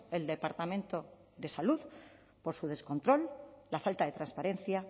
el departamento de salud por su descontrol la falta de transparencia